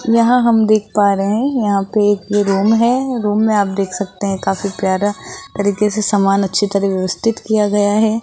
यहां हम देख पा रहे है यहां पे एक ये रूम है रूम में आप देख सकते हैं काफी प्यारा तरीके से सामान अच्छी तरह व्यवस्थित किया गया है।